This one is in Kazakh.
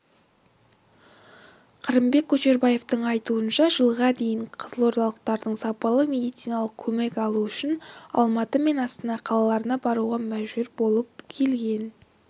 қырымбек көшербаевтың айтуынша жылға дейін қызылордалықтар сапалы медициналық көмек алу үшін алматы мен астана қалаларына баруға мәжбүр болып келген